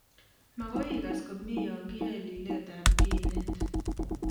Makoikas komie ya kiyae liletab kinet